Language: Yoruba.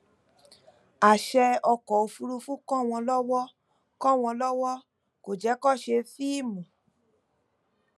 àṣẹ ọkọ òfurufú kọ wọn lọwọ kò wọn lọwọ kò jẹ kí wọn ṣe fíìmù